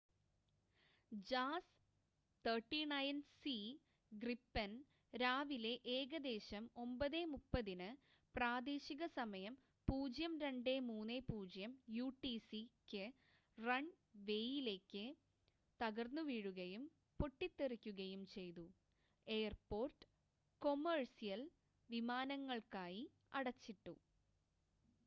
jas 39c gripen രാവിലെ ഏകദേശം 9:30 ന് പ്രാദേശിക സമയം 0230 utc ക്ക് റൺ വേയിലേക്ക് തകർന്നുവീഴുകയും പൊട്ടിത്തെറിക്കുകയും ചെയ്തു എയർപോർട്ട് കൊമേഴ്സ്യൽ വിമാനങ്ങൾക്കായി അടച്ചിട്ടു